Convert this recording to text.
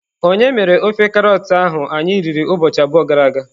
Onye mere ofe karọt ahụ anyị riri ụbọchị abụọ gara aga?